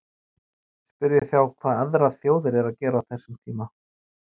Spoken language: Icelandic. Spyrjið þá hvað aðrar þjóðir eru að gera á þessum tíma?